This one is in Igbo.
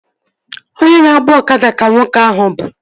Onye na-agba ọkada ka nwoke ahụ bụ